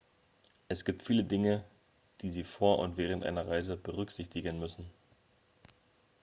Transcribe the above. es gibt viele dinge die sie vor und während einer reise berücksichtigen müssen